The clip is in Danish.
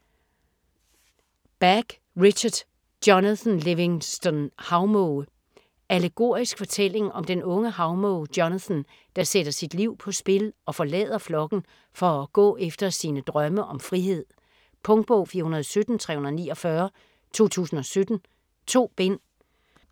Bach, Richard: Jonathan Livingston havmåge Allegorisk fortælling om den unge havmåge Jonathan der sætter sit liv på spil og forlader flokken for at gå efter sine drømme om frihed. Punktbog 417349 2017. 2 bind.